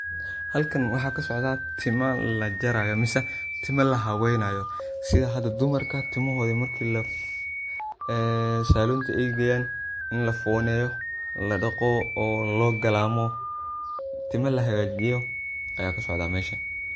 halkan waxaa kasocda tima lajarayo mise tima la habeynayo sida hada dumarka timahooda markii eey salunta ay geyan in la fooneyo, la dhaqo oo loo galaamo. Timo la hagajiyo aya kasocdan meshan